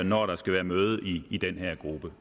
når der skal være møde i den her gruppe